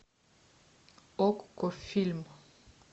окко фильм